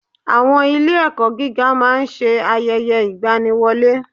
Àwọn ilé ẹ̀kọ́ gíga máa ń ṣe ayẹyẹ ìgbaniwọlé.